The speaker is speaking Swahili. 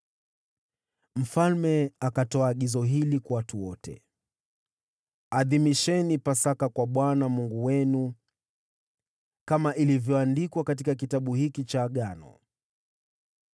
Mfalme akatoa agizo hili kwa watu wote: “Adhimisheni Pasaka kwa Bwana Mungu wenu, kama ilivyoandikwa katika Kitabu hiki cha Agano.”